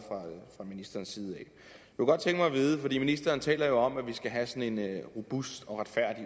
fra ministerens side ministeren taler jo om at vi skal have sådan en robust og retfærdig